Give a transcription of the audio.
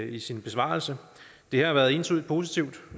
i sin besvarelse det har været entydigt positivt